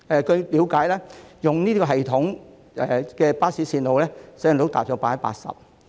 據了解，透過該系統編製的巴士路線的使用率達 80%。